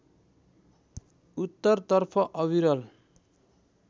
उत्तरतर्फ अविरल